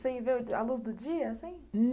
Sem ver a luz do dia, assim?